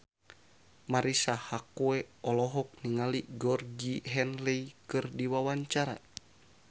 Marisa Haque olohok ningali Georgie Henley keur diwawancara